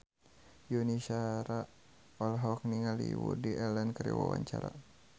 Yuni Shara olohok ningali Woody Allen keur diwawancara